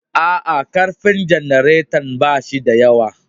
A'a. ƙarfin janaretan ba shi da yawa